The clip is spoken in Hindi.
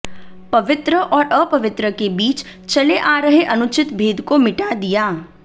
पवित्र और अपवित्र के बीच चले आ रहे अनुचित भेद को मिटा दिया